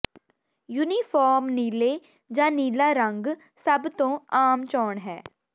uniform ਨੀਲੇ ਜਾਂ ਨੀਲਾ ਰੰਗ ਸਭ ਤੋਂ ਆਮ ਚੋਣ ਹੈ